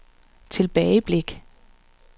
tilbageblik